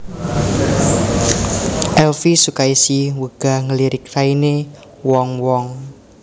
Elvi Sukaesih wegah ngelirik raine wong wong